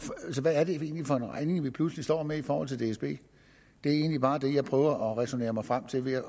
hvad er det egentlig for en regning vi pludselig står med i forhold til dsb det er egentlig bare det jeg prøver at ræsonnere mig frem til ved at